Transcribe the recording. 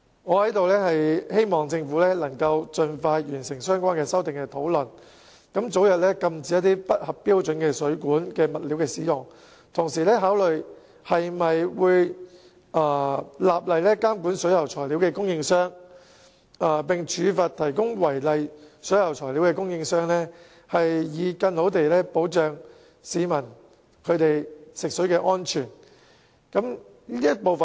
我在此希望政府能夠盡快就相關修訂完成討論，早日禁止使用不合標準的水管物料，並同時考慮立法監管水管材料供應商，並處罰提供違例水管材料的供應商，藉此為市民的食水安全提供更佳保障。